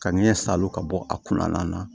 Ka ɲɛ salo ka bɔ a kunna na